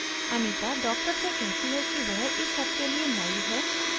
anita doctor से कहती है की वह इस सब के लिए नयी है